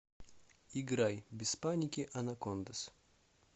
играй без паники анакондаз